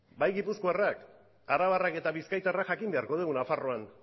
bai gipuzkoarrak arabarrak eta bizkaitarrak jakin beharko dugu nafarroan